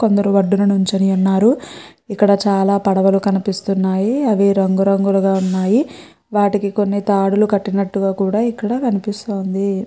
కొందరు వడ్డున నిల్చొని ఉన్నారు ఇక్కడ చాల పడువాలు కనిపిస్తున్నాయి అవి రంగు రంగుగా వున్నాయి వాటికి కొన్ని తాడులు కట్టినట్టుగా కూడా ఇక్కడ కనిపిస్తుంది.